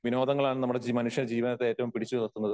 വിനോദങ്ങളാണ് നമ്മുടെ ജീ മനുഷ്യ ജീവനത്തെ ഏറ്റവും പിടിച്ചു ഉയർത്തുന്നത്.